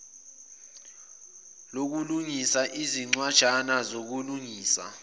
lokulungisa izincwajana zokulungisa